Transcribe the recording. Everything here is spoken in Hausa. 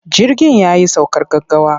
Jirgin ya yi saukar gaggawa.